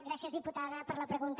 gràcies diputada per la pregunta